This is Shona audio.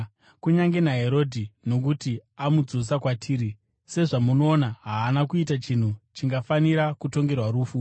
Kunyange naHerodhi, nokuti amudzosa kwatiri; sezvamunoona, haana kuita chinhu chingafanira kutongerwa rufu.